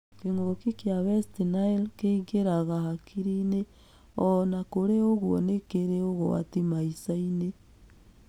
Kĩngũki kĩa west Nĩle kĩingĩraga hakiriinĩ, ona kũrĩ ũguo nĩ kĩrĩ ugwati maicainĩ.